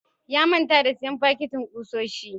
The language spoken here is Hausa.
Ya manta da siyan fakitin kusoshi.